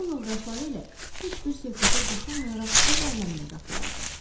Yol yoldaşları ilə heç bir söhbətə qoşulmayaraq öz aləminə qapılardı.